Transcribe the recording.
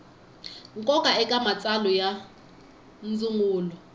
nkoka eka matsalwa ya ndzungulo